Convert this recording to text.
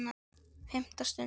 FIMMTA STUND